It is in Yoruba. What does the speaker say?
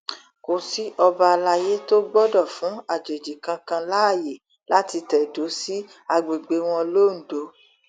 kò sí ọba àlàyé tó gbọdọ fún àjòjì kankan láàyè láti tẹdó sí àgbègbè wọn londo